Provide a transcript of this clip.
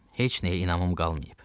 Heç nəyə inamım qalmayıb.